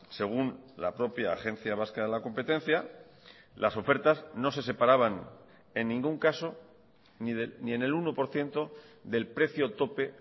según la propia agencia vasca de la competencia las ofertas no se separaban en ningún caso ni en el uno por ciento del precio tope